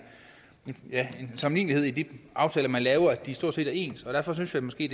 sammenlignelighed i de aftaler man laver at de stort set er ens derfor synes jeg måske